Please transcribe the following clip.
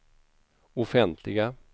offentliga